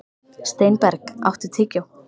Steinberg, áttu tyggjó?